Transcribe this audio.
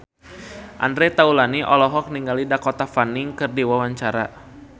Andre Taulany olohok ningali Dakota Fanning keur diwawancara